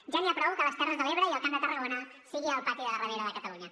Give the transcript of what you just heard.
ja n’hi ha prou que les terres de l’ebre i el camp de tarragona siguin el pati de darrere de catalunya